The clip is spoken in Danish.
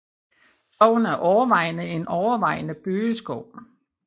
Skoven er overvejende en overvejende bøgeskov